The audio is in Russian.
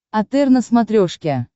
отр на смотрешке